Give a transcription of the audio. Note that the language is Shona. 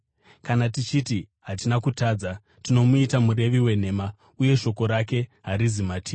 Kana tichiti hatina kutadza, tinomuita murevi wenhema uye shoko rake harizi matiri.